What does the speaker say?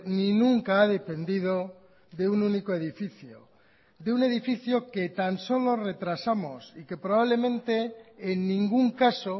ni nunca ha dependido de un único edificio de un edificio que tan solo retrasamos y que probablemente en ningún caso